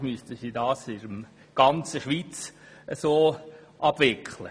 Sonst müsste sie das in der ganzen Schweiz so handhaben.